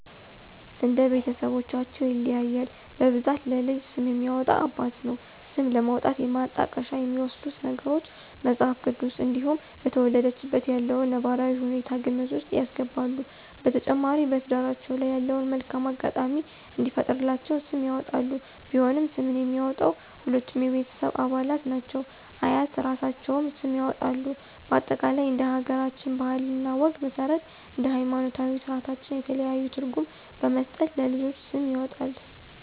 እንደ ቤተስቦቻቸው ይለያያል በብዛት ለልጅ ስም የሚያወጣ አባት ነው። ስም ለማውጣት የማጣቀሻ የሚወስዱት ነገሮች:- መጽሐፍ ቅዱስ እንዲሁም በተወለደችበት ያለውን ነባራዊ ሁኔታ ግምት ውስጥ ያስገባሉ። በተጨማሪ በትዳራቸው ላይ ያለውን መልካም አጋጣሚ እንዲፈጥርላቸው ስም ያወጣሉ። ቢሆንም ስምን የሚያወጣው ሁሉም የቤተሰብ አባላት እናት፤ አያት እራሳቸውም ስም ያወጣሉ በአጠቃላይ እንደ ሀገራችን ባህል እና ወግ መስረት እንደ ሀይማኖታዊ ስራታችን የተለያዩ ትርጉም በመስጠት ለልጆች ስም ይወጣል